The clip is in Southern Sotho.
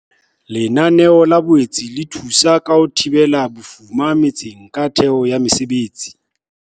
Lenaneo le boetse le thusa ka ho thibela bofuma metseng ka theho ya mesebetsi.